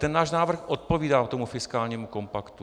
Ten náš návrh odpovídá tomu fiskálnímu kompaktu.